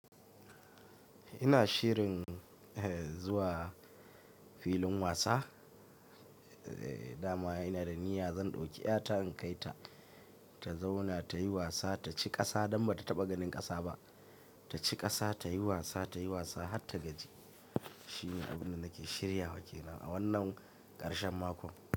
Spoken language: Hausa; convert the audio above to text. Ina shirin zuwa filin wasa, dama ina da niyya zan ɗauki ƴata in kai ta ta zauna ta yi wasa ta ci ƙasa don ba ta taɓa ganin ƙasa ba. Ta ci ƙasa ta yi wasa, ta yi wasa har ta gaji. Shine abin da nake shirya wake na a wannan ƙarshen mako.